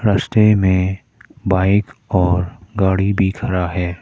रस्ते में बाइक और गाड़ी भी खड़ा है।